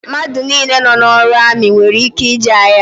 Mmadụ nile nọ n'ọrụ amị nwèrè ike ije agha